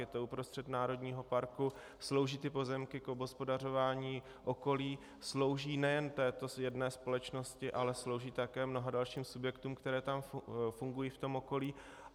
Je to uprostřed národního parku, slouží ty pozemky k obhospodařování okolí, slouží nejen této jedné společnosti, ale slouží také mnoha dalším subjektům, které tam fungují v tom okolí.